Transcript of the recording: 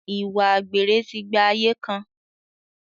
Ìwà àgbèrè ti gba ayé kan.